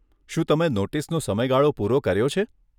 શું તમે નોટિસનો સમયગાળો પૂરો કર્યો છે?